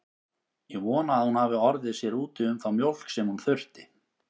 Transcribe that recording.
Ég vona að hún hafi orðið sér úti um þá mjólk sem hún þurfti.